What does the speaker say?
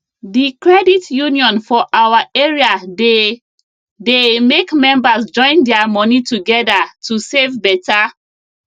the credit union for our area dey dey make members join their money together to save better